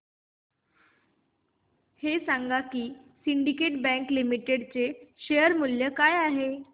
हे सांगा की सिंडीकेट बँक लिमिटेड चे शेअर मूल्य काय आहे